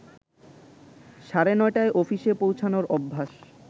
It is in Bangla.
সাড়ে নটায় অফিসে পৌঁছানোর অভ্যাস